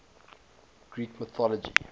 greek mythology